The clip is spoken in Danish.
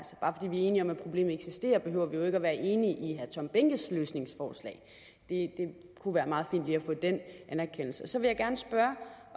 enige om at problemet eksisterer behøver vi jo ikke være enige i herre tom behnkes løsningsforslag det kunne være meget fint lige at få den anerkendelse så vil jeg gerne spørge